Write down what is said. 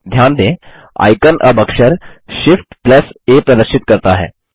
ध्यान दें आइकन अब अक्षर ShiftA प्रदर्शित करता है